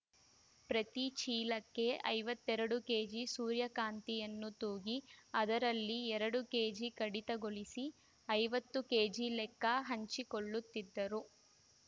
ಪ್ರತಿ ಚೀಲಕ್ಕೆ ಐವತ್ತೆರಡು ಕೆಜಿ ಸೂರ್ಯಕಾಂತಿಯನ್ನು ತೂಗಿ ಅದರಲ್ಲಿ ಎರಡು ಕೆಜಿ ಕಡಿತಗೊಳಿಸಿ ಐವತ್ತು ಕೆಜಿ ಲೆಕ್ಕ ಹಚ್ಚಿಕೊಳ್ಳುತ್ತಿದ್ದರು